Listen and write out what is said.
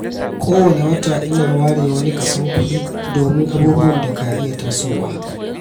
Kowane wata ina ware wani kason kuɗi domin abubuwan da ka iya tasowa.